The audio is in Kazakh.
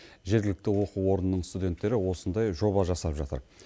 жергілікті оқу орнының студенттері осындай жоба жасап жатыр